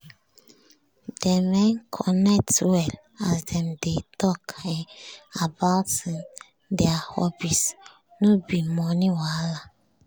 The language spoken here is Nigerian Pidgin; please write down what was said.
dem um connect well as dem dey talk um about um their hobbies no be money wahala